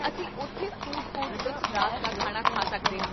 ਅਸੀਂ ਉੱਥੇ food court ਵਿੱਚ ਰਾਤ ਦਾ ਖਾਣਾ ਖਾ ਸਕਦੇ ਹਾਂ